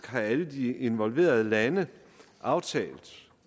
har alle de involverede lande aftalt